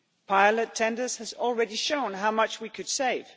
Pilot tenders have already shown how much we could save.